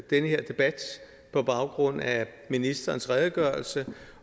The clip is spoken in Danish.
denne debat på baggrund af ministerens redegørelse